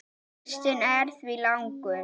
Listinn er því langur.